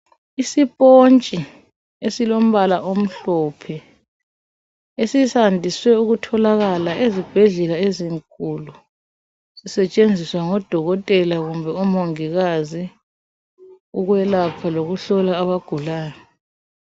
Isipontshi esilombala omhlophe, esisandiswe ukutholakala ezibhedlela ezinkulu, sisetshenziswa ngodokotela kumbe omongikazi ukwelapha lokuhlola abagulayo.